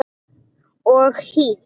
Og hýdd.